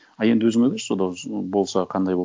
а енді өзің ойлашы сода болса қандай болады